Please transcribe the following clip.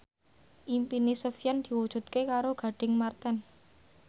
impine Sofyan diwujudke karo Gading Marten